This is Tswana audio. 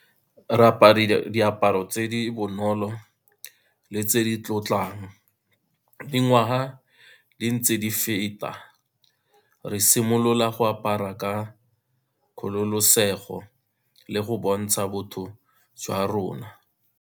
Re diaparo tse di bonolo le tse di tlotlang, dingwaga di ntse di feta, re simolola go apara ka kgololosego le go bontsha botho jwa rona.